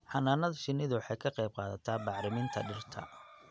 Xannaanada shinnidu waxay ka qayb qaadataa bacriminta dhirta.